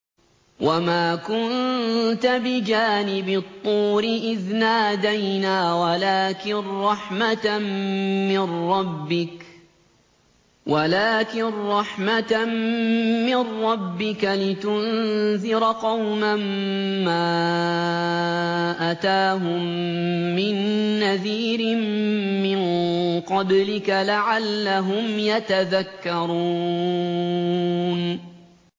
وَمَا كُنتَ بِجَانِبِ الطُّورِ إِذْ نَادَيْنَا وَلَٰكِن رَّحْمَةً مِّن رَّبِّكَ لِتُنذِرَ قَوْمًا مَّا أَتَاهُم مِّن نَّذِيرٍ مِّن قَبْلِكَ لَعَلَّهُمْ يَتَذَكَّرُونَ